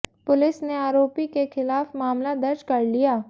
police ने आरोपी के खिलाफ मामला दर्ज कर लिया